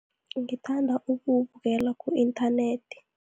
Ngithanda ukuwubukela ku-inthanethi.